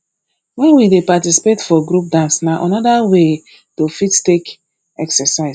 when we dey participate for group dance na anoda way to fit take exercise